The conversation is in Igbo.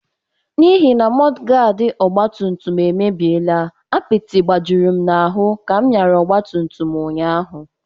N’ihi na mọdụgaadị ọgbatumtum emebiela, apịtị gbajuru m ahụ ka m nyara ọgbatumtum ụnyaahụ.